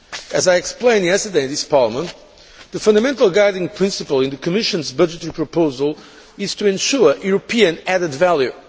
As I explained yesterday in this Parliament, the fundamental guiding principle in the Commission's budgetary proposals is to ensure European added value.